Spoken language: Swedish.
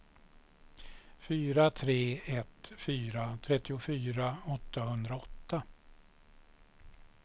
fyra tre ett fyra trettiofyra åttahundraåtta